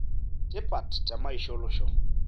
tipat te maisha olosho.